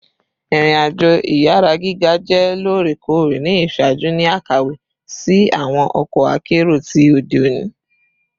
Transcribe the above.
Irin-ajo iyara giga jẹ loorekoore ni iṣaaju ni akawe si awọn ọkọ akero ti ode oni